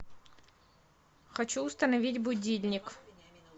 хочу установить будильник